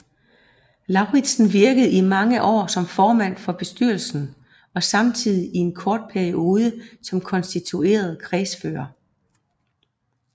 Lauritsen virkede i mange år som formand for bestyrelsen og samtidig i en kort periode som konstitueret kredsfører